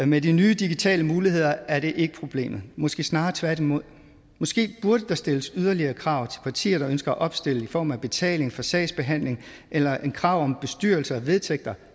med de nye digitale muligheder er det ikke problemet måske snarere tværtimod måske burde der stilles yderligere krav partier der ønsker at opstille i form af betaling for sagsbehandling eller et krav om bestyrelse og vedtægter